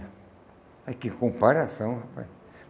Aí, que comparação, rapaz.